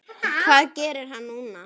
Hvað gerir hann núna?